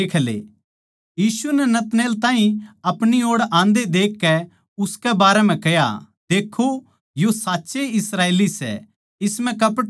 यीशु नै नतनएल ताहीं अपणी ओड़ आन्दे देखकै उसकै बारै म्ह कह्या देक्खो यो साच्चए इस्राएली सैः इस म्ह कपट कोनी